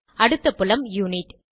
அடுத்த புலம் யுனிட்